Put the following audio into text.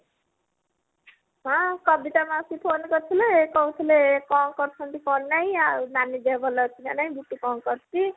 ହଁ କବିତା ମାଉସୀ phone କରିଥିଲେ କହୁଥିଲେ କଣ କରୁଛନ୍ତି କଣ ନାହି ଆଉ ନାନି ଦେହ ଭଲ ଅଛି ନା ନାହି ବୁଟୁ କଣ କରୁଛି